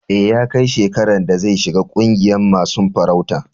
E, ya kai shekaran da zai shiga ƙungiyan masun farauta.